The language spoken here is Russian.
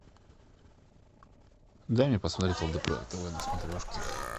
дай мне посмотреть лдпр тв на смотрешке